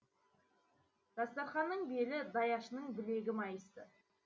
дастарқанның белі даяшының білегі майысты